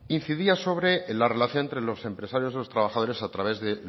incidía sobre la relación entre los empresarios y los trabajadores a través de